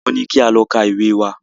Wọ́n ní kí a lọ ka ìwé wa!